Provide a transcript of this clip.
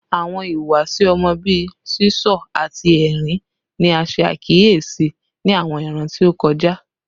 Awọn ihuwasi ọmọ bii sisọ ati ẹrin ni a ṣe akiyesi ni awọn iran ti o ti kọja